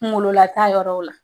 Kungololata yɔrɔ o la.